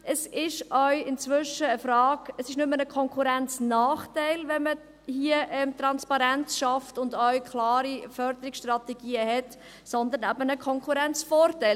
Es ist inzwischen kein Konkurrenznachteil, wenn man Transparenz schafft und auch klare Förderungsstrategien hat, sondern ein Konkurrenzvorteil.